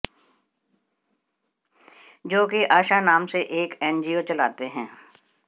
जो कि आशा नाम से एक एनजीओ चलाते है